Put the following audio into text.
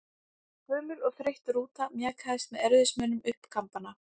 Gömul og þreytt rúta mjakaðist með erfiðismunum upp Kambana.